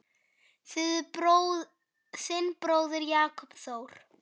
Þinn bróðir, Jakob Þór.